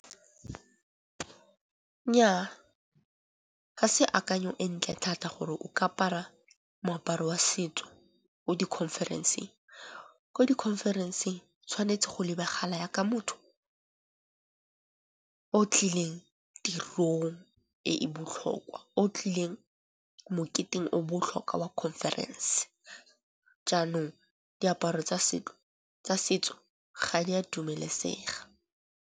Nyaa, ga se akanyo e ntle thata gore o ka apara moaparo wa setso ko di conference-eng. Ko di conference-eng tshwanetse go lebagala ya ka motho o tlileng tirong e e botlhokwa, o tlileng moketeng o botlhokwa wa conference. Jaanong diaparo tsa setso ga di a dumelesega.